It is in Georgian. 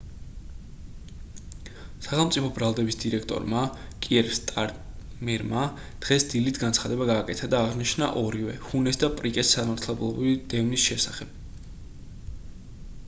სახელმწიფო ბრალდების დირექტორმა კიერ სტარმერმა დღეს დილით განცხადება გააკეთა და აღნიშნა ორივე ჰუნეს და პრიკეს სამართლებრივი დევნის შესახებ